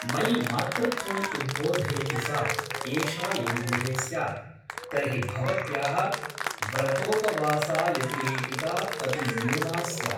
मयि मातृत्वम् उद्बोधयति सा एषा यदि गृहे स्यात् तर्हि भवत्याः व्रतोपवासायतिरेकिता अपि न्यूना स्यात् ।